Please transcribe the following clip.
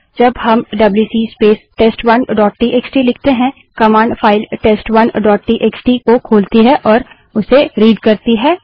जब हम WC space टेस्ट1 डोट टीएक्सटी लिखते हैं कमांड फाइल टेस्ट1 डोट टीएक्सटी को खोलती और उससे रीड़ पढ़ती करती है